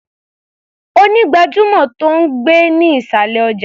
Onígbàjamọ̀ tó ń gbé ní ìṣàlẹ̀ ọjà ni.